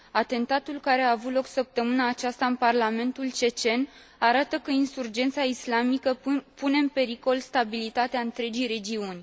Atentatul care a avut loc săptămâna aceasta în Parlamentul cecen arată că insurgența islamică pune în pericol stabilitatea întregii regiuni.